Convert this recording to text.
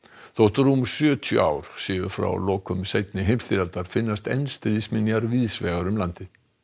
þótt rúm sjötíu ár séu frá lokum seinni heimsstyrjaldar finnast enn stríðsminjar víðsvegar um landið